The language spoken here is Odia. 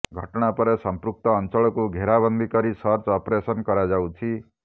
ଘଟଣା ପରେ ସଂପୃକ୍ତ ଅଞ୍ଚଳକୁ ଘେରା ବନ୍ଦୀ କରି ସର୍ଚ୍ଚ ଅପରେସନ୍ କରାଯାଉଛି